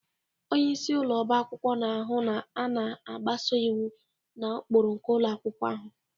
Onye isi ụlọ ọba akwụkwọ na-ahụ na a na-agbaso iwu na ụkpụrụ nke ụlọ akwụkwọ ahụ